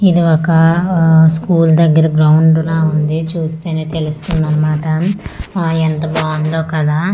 ఇది ఒక స్కూల్ దగ్గర గ్రౌండ్ లా ఉంది చూస్తేనే తెలుస్తుంది అన్నమాట ఆ ఎంత బాగుందో కదా--